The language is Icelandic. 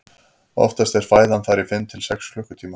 oftast er fæðan þar í fimm til sex klukkutíma